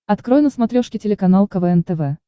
открой на смотрешке телеканал квн тв